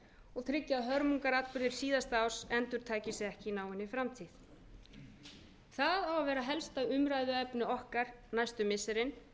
og tryggja að hörmungaratburðir síðasta árs endurtaki sig ekki í náinni framtíð það á að vera helsta umræðuefni okkar næstu missirin